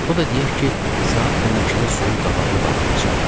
O da deyək ki, saat 12-də suyun qabağını bağlayacaq.